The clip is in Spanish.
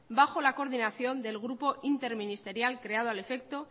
bajo la coordinación del grupo interministerial creado al efecto